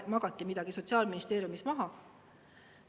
Ehk magati midagi Sotsiaalministeeriumis maha?